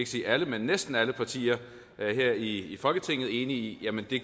sige alle men næsten alle partier her i folketinget enige om at det